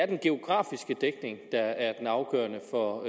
den geografiske dækning der er den afgørende for